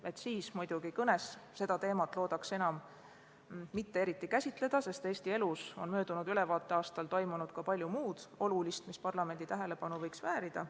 Loodan siis seda praegust teemat enam mitte eriti käsitleda, sest Eesti elus on möödunud ülevaateaastal toimunud ka palju muud olulist, mis parlamendi tähelepanu võiks väärida.